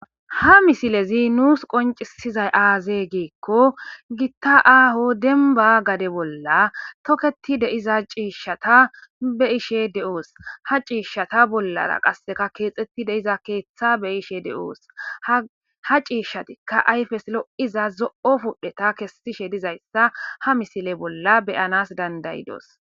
Ha misilezi nuus qoncisizat aaze giiko,gita aaho demba gade bolla toketidi diza ciishata be'ishe de'oos. Ha ciishata bollara keexetidi de'iza keetha be'oos. Ha ciishatika ayfes lo'iza zo'o pudheta kesishe dizaysa ha misile bolla be'anaas danda'idos.